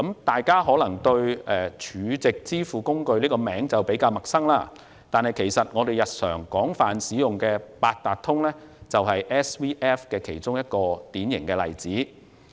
大家對 SVF 這個名稱可能比較陌生，但我們日常廣泛使用的八達通就是 SVF 的一個典型例子。